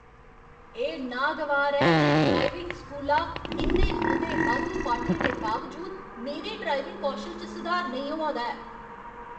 एह् नागवार ऐ जे ड्राइविंग स्कूला इन्ने मते बाद्धू पाठें दे बावजूद मेरे ड्राइविंग कौशल च सुधार नेईं होआ दा ऐ।